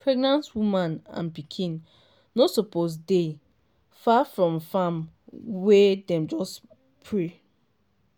pregnant woman and pikin no suppose dey far from farm wey dem just spray.